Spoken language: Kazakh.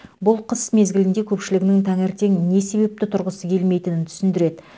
бұл қыс мезгілінде көпшілігінің таңертең не себепті тұрғысы келмейтінін түсіндіреді